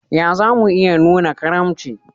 Ya za mu iya nuna karimci?